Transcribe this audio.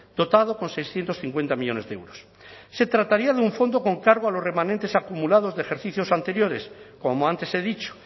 dotado con seiscientos cincuenta millónes de euros se trataría de un fondo con cargo a los remanentes acumulados de ejercicios anteriores como antes he dicho